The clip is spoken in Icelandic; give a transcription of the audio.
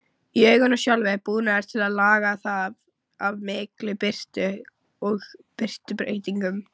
Í auganu sjálfu er búnaður til að laga það að mikilli birtu og birtubreytingum.